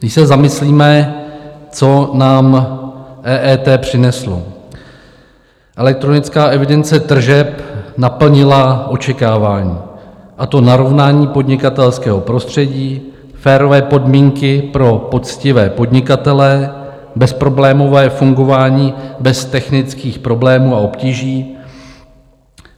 Když se zamyslíme, co nám EET přineslo: elektronická evidence tržeb naplnila očekávání, a to narovnání podnikatelského prostředí, férové podmínky pro poctivé podnikatele, bezproblémové fungování bez technických problémů a obtíží.